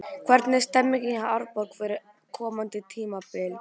Hvernig er stemningin hjá Árborg fyrir komandi tímabil?